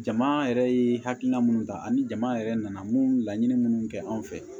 Jama yɛrɛ ye hakilina minnu ta ani jama yɛrɛ nana mun ye laɲini minnu kɛ an fɛ